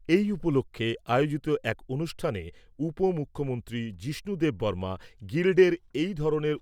এই উপলক্ষ্যে আয়োজিত এক অনুষ্ঠানে উপমুখ্যমন্ত্রী যিষ্ণু দেববর্মা গিল্ডের এই ধরনের